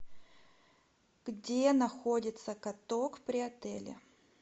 где находится каток при отеле